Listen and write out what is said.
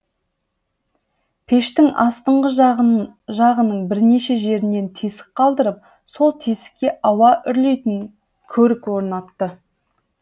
пештің астыңғы жағының бірнеше жерінен тесік қалдырып сол тесікке ауа үрлейтін көрік орнатты